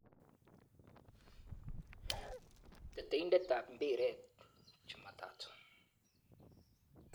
Teteindetab mbiret Jumatatu 15.01.2018.